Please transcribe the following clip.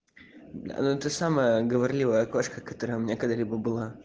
бля ну ты самая говорливая кошка которая у меня когда-либо была